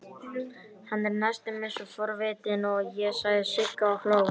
Hann er næstum eins forvitinn og ég, sagði Sigga og hló.